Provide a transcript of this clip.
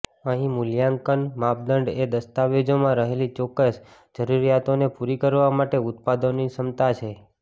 અહીં મૂલ્યાંકન માપદંડ એ દસ્તાવેજોમાં રહેલી ચોક્કસ જરૂરિયાતોને પૂરી કરવા માટે ઉત્પાદનોની ક્ષમતા છે